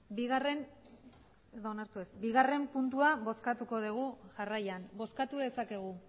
bigarren puntua bozkatuko dugu jarraian bozkatu dezakegu